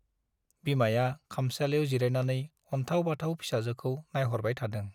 बिमाया खामसालियाव जिरायनानै अन्थाव - बाथाव फिसाजोखौ नाइहरबाय थादों ।